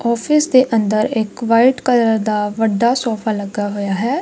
Office ਦੇ ਅੰਦਰ ਇੱਕ ਵਾਈਟ ਕਲਰ ਦਾ ਵੱਡਾ ਸੋਫਾ ਲੱਗਾ ਹੋਇਆ ਹੈ।